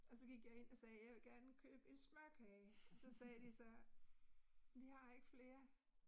Og så gik jeg ind og sagde, jeg vil gerne købe en smørkage, og så sagde de så, vi har ikke flere